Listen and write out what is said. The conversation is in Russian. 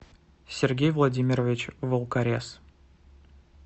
сергей владимирович волкорез